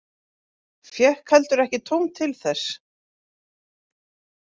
Fékk heldur ekki tóm til þess.